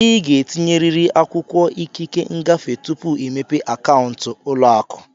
Ị ga-etinyerịrị akwụkwọ ikike ngafe tupu ịmepe akaụntụ ụlọ akụ.